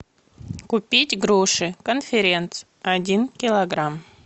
купить груши конференц один килограмм